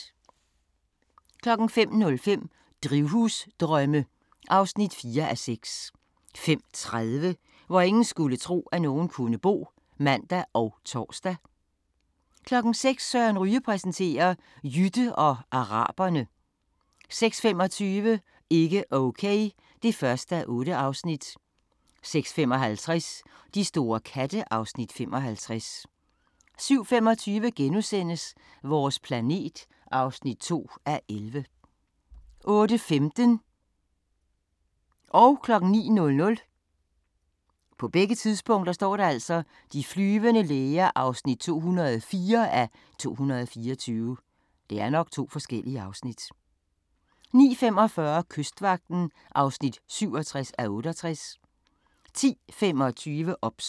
05:05: Drivhusdrømme (4:6) 05:30: Hvor ingen skulle tro, at nogen kunne bo (man og tor) 06:00: Søren Ryge præsenterer: Jytte og araberne 06:25: Ikke okay (1:8) 06:55: De store katte (Afs. 55) 07:25: Vores planet (2:11)* 08:15: De flyvende læger (204:224) 09:00: De flyvende læger (204:224) 09:45: Kystvagten (67:68) 10:25: OBS